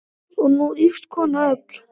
Og nú ýfist konan öll.